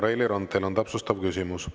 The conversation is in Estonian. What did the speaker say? Ja, Reili Rand, teil on täpsustav küsimus.